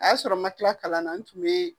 A y'a sɔrɔ n ma kila kalan na n tun be